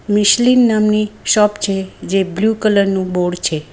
Michelin નામની shop છે જે બ્લુ કલરનું બોર્ડ છે.